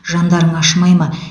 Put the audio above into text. жандарың ашымай ма